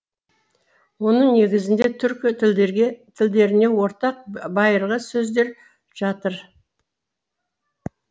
оның негізінде түркі тілдеріне ортақ байырғы сөздер жатыр